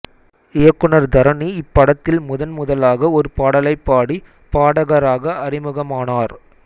இயக்குனர் தரணி இப்படத்தில் முதன் முதலாக ஒரு பாடலைப் பாடி பாடகராக அறிமுகமானார்